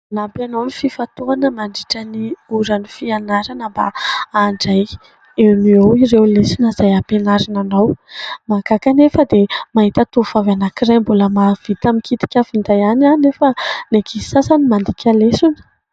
Nampianao ny fifantohana mandritra ny ora ny fianarana mba handray eo no eo ireo lesona izay ampianarina anao. Mahagaga anefa dia mahita tovovavy anankiray mbola mahavita mikitika finday ihany anefa ny ankizy sasany mandika lesona.